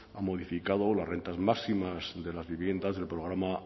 ha modificado las rentas máximas de las viviendas del programa asap